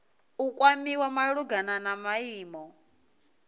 u kwamiwa malugana na maimo